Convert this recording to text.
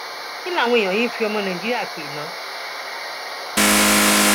kí làwọn èèyàn yìí ń fi àwọn ọmọ nàìjíríà pè ná